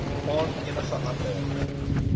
aan enige ander